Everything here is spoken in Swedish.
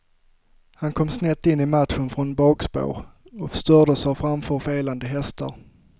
Han kom snett in i matchen från bakspår, stördes av framför felande hästar.